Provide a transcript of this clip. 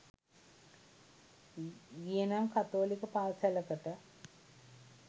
ගියෙ නම් කතෝලික පාසැලකට